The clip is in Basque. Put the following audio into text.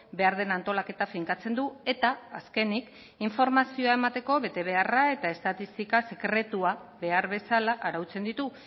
behar den antolaketa finkatzen du eta azkenik informazioa emateko betebeharra eta estatistika sekretua behar bezala arautzen ditu